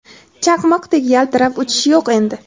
Chaqmoqdek yaltirab uchish yo‘q endi.